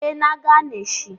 E na gani shi.